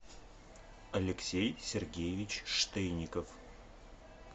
алексей сергеевич штейников